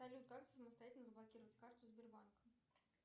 салют как самостоятельно заблокировать карту сбербанка